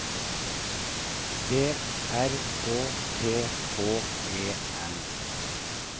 B R Å T H E N